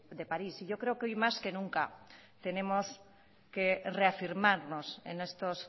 de parís y yo creo que hoy más que nunca tenemos que reafirmarnos en estos